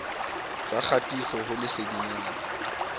sa kgatiso ho lesedinyana la